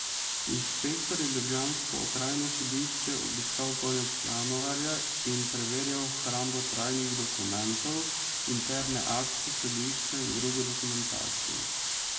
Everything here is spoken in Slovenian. Inšpektor je ljubljansko okrajno sodišče obiskal konec januarja in preverjal hrambo tajnih dokumentov, interne akte sodišča in drugo dokumentacijo.